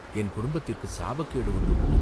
என் குடும்பத்திற்குச் சாபக்கேடு ஒன்று உண்டு.